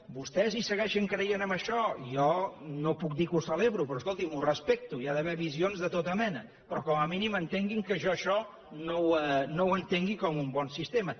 vostès hi segueixen creient en això jo no puc dir que ho celebro però escolti’m ho respecto hi ha d’haver visions de tota mena però com a mínim entenguin que jo això no ho entengui com un bon sistema